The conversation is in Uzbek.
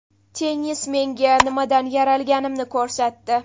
Tennis menga nimadan yaralganimni ko‘rsatdi.